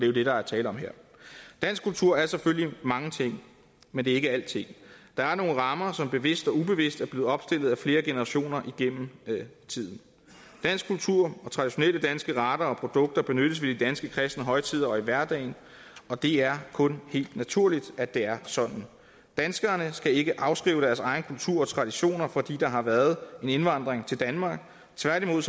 jo det der er tale om her dansk kultur er selvfølgelig mange ting men det er ikke alting der er nogle rammer som bevidst og ubevidst er blevet opstillet af flere generationer igennem tiden dansk kultur og traditionelle danske retter og produkter benyttes ved de danske kristne højtider og i hverdagen og det er kun helt naturligt at det er sådan danskerne skal ikke afskrive deres egen kultur og traditioner fordi der har været en indvandring til danmark tværtimod